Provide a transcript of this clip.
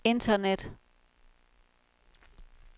internet